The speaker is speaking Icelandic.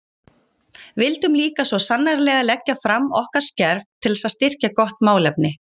Vildum líka svo sannarlega leggja fram okkar skerf til þess að styrkja gott málefni.